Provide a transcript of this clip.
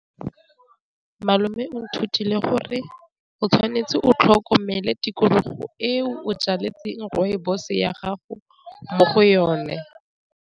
Malome o nthutile gore o tshwanetse o tlhokomele tikologo e o jaletseng rooibos-e ya gago mo go yone.